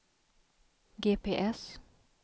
GPS